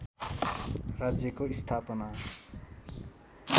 राज्यको स्थापना